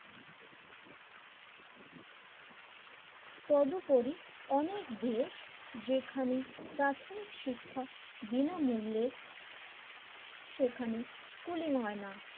তৎপরী অনেক দেশ যেখানে প্রাথমিক শিক্ষা বিনামূল্যে সেখানে স্কুলিং হয় না,